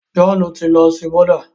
John ti ló sìn Buddha.